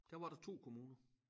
Der var der 2 kommuner